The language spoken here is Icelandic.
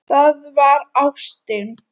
Það var ástin.